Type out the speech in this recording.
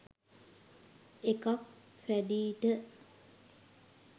එකක් පැඞීට